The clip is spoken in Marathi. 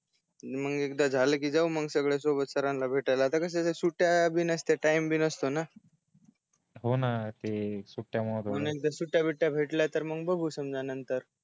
मग एकदा झाल कि जाऊन मग सगळया सोबत सरांना भेटायला आता कश्याच्या सुट्ट्या बी नसतात टाइम बी नसतो न हो न ते सुट्ट्या मूळ मग सुट्ट्या बिट्या भेटल्या तर मग बघू समजा नंतर